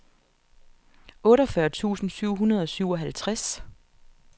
otteogfyrre tusind syv hundrede og syvoghalvtreds